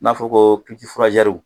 N'a fɔra ko